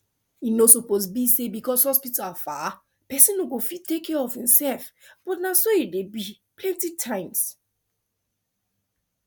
e no suppose be say because hospital far person no go fit take care of himself but na so e dey be plenty times